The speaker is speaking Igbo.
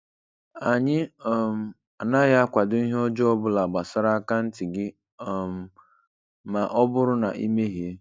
Anyị um anaghị akwado ihe ọjọọ obula gbasara akaanti gị um ma ọ bụrụ na I mehiee